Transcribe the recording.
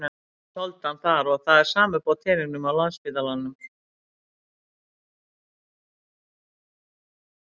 Enginn þoldi hann þar og það er sama uppi á teningnum á Landspítalanum.